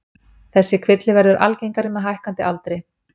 Þessi kvilli verður algengari með hækkandi aldri.